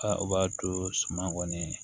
u b'a to suma kɔni